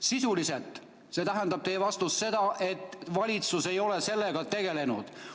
Sisuliselt tähendab teie vastus seda, et valitsus ei ole sellega tegelenud.